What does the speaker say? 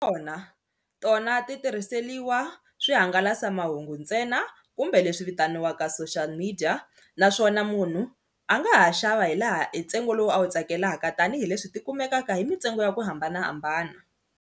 Kona tona ti tirhiseliwa swihangalasamahungu ntsena kumbe leswi vitaniwaka social media naswona munhu a nga ha xava hi laha hi ntsengo lowu a wu tsakelaka tanihileswi ti kumekaka hi mintsengo ya ku hambanahambana.